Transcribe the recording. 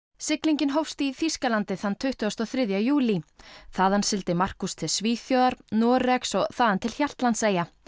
siglingin hófst í þýsklandi þann tuttugasta og þriðja júlí þaðan sigldi Markus til Svíþjóðar Noregs og þaðan til Hjaltlandseyja